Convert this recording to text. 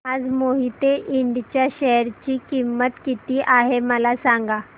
आज मोहिते इंड च्या शेअर ची किंमत किती आहे मला सांगा